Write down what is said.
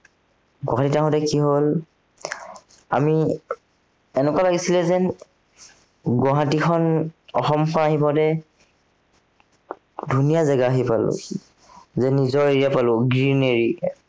গোৱালিয়ৰ যাঁওতে কি হল, আমি, এনেকুৱা লাগিছিলে যেন, গুৱাহাটীখন, অসমখন আহি পাওতে ধুনীয়া জেগা আহি পালোহি। যেন নিজৰ area পালো greenary